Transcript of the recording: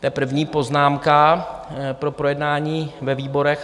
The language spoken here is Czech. To je první poznámka pro projednání ve výborech.